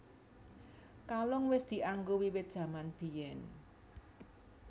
Kalung wis dianggo wiwit jaman biyén